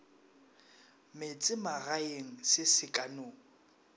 metsemagaeng se se ka no